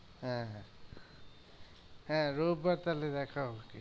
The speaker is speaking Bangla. হ্যাঁ হ্যাঁ হ্যাঁ রোব বার তাহলে দেখা